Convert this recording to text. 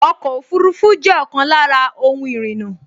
Ọkọ̀ ọfurufú jẹ́ ọ̀kan lára ohun ìrìnnà